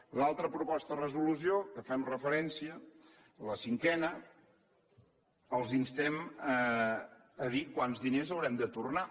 a l’altra proposta de resolució a què fem referència la cinquena els instem a dir quants diners haurem de tornar